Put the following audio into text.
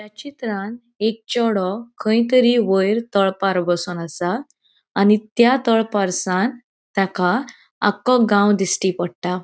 या चित्रान एक चेड़ो खय तरी वयर तळपार बोसोन असा आणि त्या तळपारसान ताका अक्खो गाव दिस्टी पट्टा.